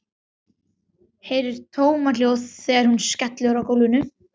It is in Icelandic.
Heyri tómahljóð þegar hún skellur á gólfinu.